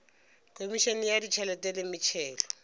khomišene ya ditšhelete le metšhelo